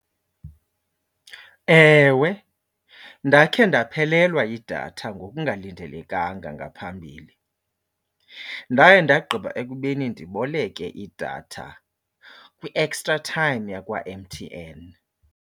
Ewe, ndakhe ndaphelelwa yidatha ngokungalindelekanga ngaphambili. Ndaye ndagqiba ekubeni ndiboleke idatha kwiXtraTime yakwa-M_T_N.